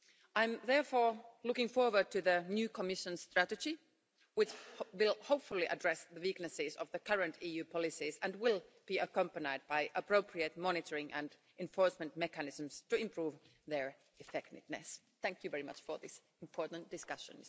I am, therefore, looking forward to the new Commission strategy, which will, hopefully, address the weaknesses of the current EU policies and will be accompanied by appropriate monitoring and enforcement mechanisms to improve their effectiveness. Thank you very much for this important discussion.